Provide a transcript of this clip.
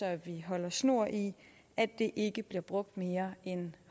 at vi holder snor i at det ikke bliver brugt mere end